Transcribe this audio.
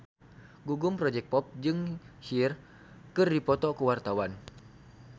Gugum Project Pop jeung Cher keur dipoto ku wartawan